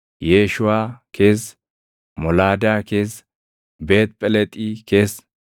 Yeeshuʼaa keessa, Molaadaa keessa, Beet Phelexi keessa,